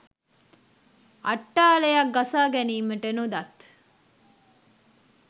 අට්ටාලයක් ගසා ගැනීමට නොදත්